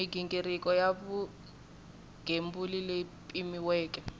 mighingiriko ya vugembuli leyi pimiweke